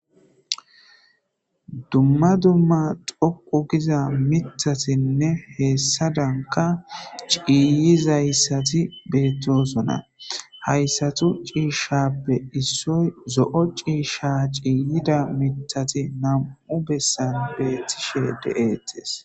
Duma duma dhoqu giza mithazine hesazanika ciyizaysati betesona hayisatu cishape issoy zo'o cisha ciyida mithati na'mu na'mu besan de'etes